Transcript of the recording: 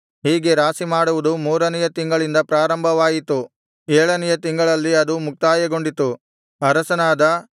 ಹೀಗೆ ರಾಶಿಮಾಡುವುದು ಮೂರನೆಯ ತಿಂಗಳಿಂದ ಪ್ರಾರಂಭವಾಯಿತು ಏಳನೆಯ ತಿಂಗಳಲ್ಲಿ ಅದು ಮುಕ್ತಾಯಗೊಂಡಿತು ಅರಸನಾದ